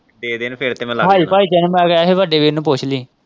ਦੇ ਦੇਣ ਫਿਰ ਤੇ ਮੈਂ ਲੱਗ ਜਾਣਾ ਹਾਈ ਫਾਈ ਦੇਣ ਮੈ ਕੁਝ ਸੀ ਬੜਦੇ ਵੀਰ ਨੂੰ ਪੁੱਛ ਲੀਂ।